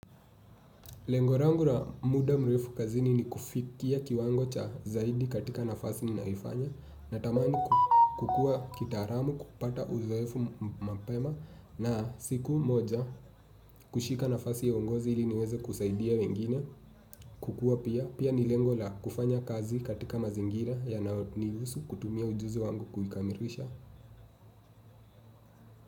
Lengo langu la muda mrefu kazini ni kufikia kiwango cha zaidi katika nafasi ninaifanya natamani kukua kitaalamu kupata uzoefu mapema na siku moja kushika nafasi ya uongozi ili niweze kusaidia wengine kukua pia pia ni lengo la kufanya kazi katika mazingira yanayonihusu kutumia ujuzi wangu kuikamirisha.